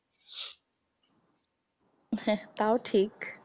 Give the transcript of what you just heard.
হ্যা তাও ঠিক।